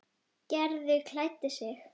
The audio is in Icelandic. Gerður klæddi sig.